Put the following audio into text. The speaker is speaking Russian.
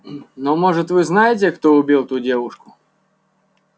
но может вы знаете кто убил ту девушку